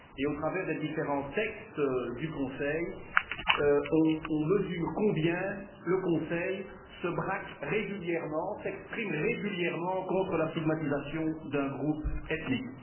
Au travers des différents textes du Conseil, on mesure combien ce dernier se braque régulièrement, s'exprime régulièrement contre la stigmatisation d'un groupe ethnique.